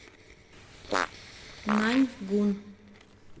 наньгун